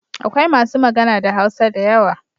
Akwai masu magana da Hausa da yawa.